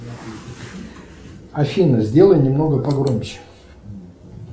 афина сделай немного погромче